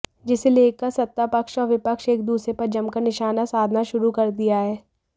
जिसे लेकर सत्तापक्ष और विपक्ष एक दूसरे पर जमकर निशाना साधना शुरू कर दिया है